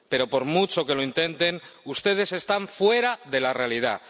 Pero, por mucho que lo intenten, ustedes están fuera de la realidad.